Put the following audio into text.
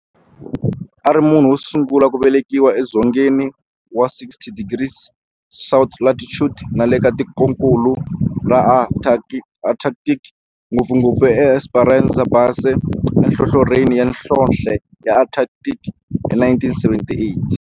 A ri munhu wosungula ku velekiwa e dzongeni wa 60 degrees south latitude nale ka tikonkulu ra Antarctic, ngopfungopfu eEsperanza Base enhlohlorhini ya nhlonhle ya Antarctic hi 1978.